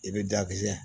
I bɛ dakisɛ